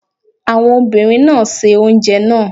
Àwọn obìnrin náà se oúnjẹ náà.